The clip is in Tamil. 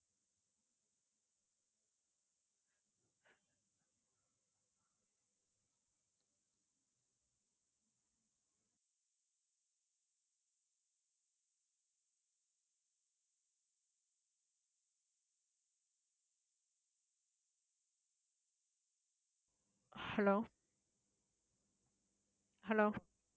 hello hello